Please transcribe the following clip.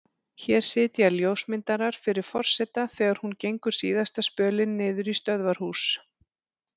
Hér sitja ljósmyndarar fyrir forseta þegar hún gengur síðasta spölinn niður í stöðvarhús.